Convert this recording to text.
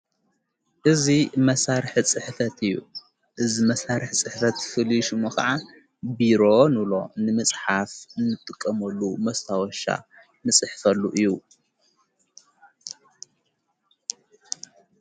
እዙ መሣርሕ ጽሕፈት እዩ እዝመሣርሕ ጽሕፈት ፍልሹሙ ኸዓ ቢሮ ንብሎ ንምጽሓፍ ንጥቀመሉ መስታወሻ ንጽሕፈሉ እዩ።